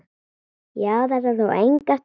Já, þetta tók enga stund.